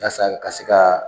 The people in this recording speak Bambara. Yasa ka se ka